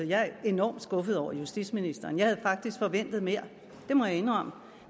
jeg er enormt skuffet over justitsministeren jeg havde faktisk forventet mere det må jeg indrømme